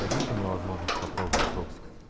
дадите мне возможность попробовать коксик